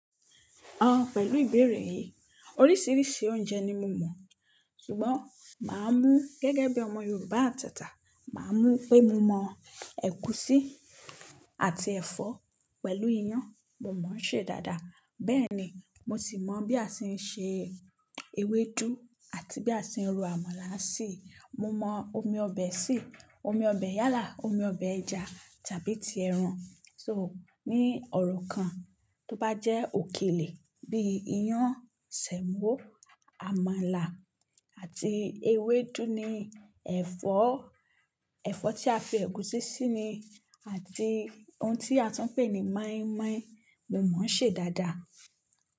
Ọ̀ pẹ̀lú ìbéèrè yìí, oríṣiríṣi oúnjẹ ni mo mọ̀, ṣùgbọ́n màá mú gẹ́gẹ́ bí ọmọ Yorùbá àtata, màá mú pé mo mọ̀ ẹ̀gúsí àti ẹ̀fọ́ pẹ̀lú iyán, mo mọ̀ ṣé dáadáa. Bẹ́ẹ̀ ni, mo sì mọ̀ bí a ṣe ń se ewédú àti bí a ṣe ń ro àmàlà sí. Mo mọ omi ọbẹ̀ se, omi ọbẹ̀ yálà, omi ọbẹ̀ ẹja tàbí ti ẹran. So ní ọ̀rọ̀ kan tó bá jẹ́ òkèlè bíi iyán, sẹ̀mọ́, àmàlà àti ewédú ni ẹ̀fọ́, ẹ̀fọ́ tí a fi ẹ̀gúsí sí ni àti ohun tí a tún ń pè ní mọ́ímọ́í, mo mọ̀ ṣé dáadáa.